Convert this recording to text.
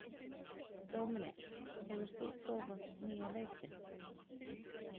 Dominik, hefur þú prófað nýja leikinn?